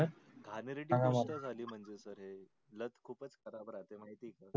घाणेरडी गोष्ट झाली म्हणजे sir हे लत खूपच खराब राहते माहित आहे का.